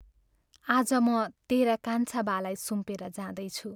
आज म तेरा कान्छा बालाई सुम्पेर जाँदैछु।